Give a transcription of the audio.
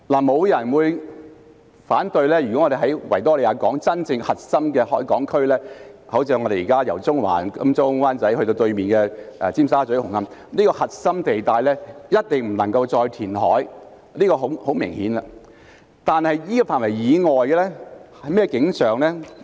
沒有人會反對，維港的真正核心海港區，即由中環、金鐘或灣仔至對面的尖沙咀和紅磡這個核心地帶，是一定不能夠再填海的，這一點是很明顯的，但在這個範圍以外是甚麼景象呢？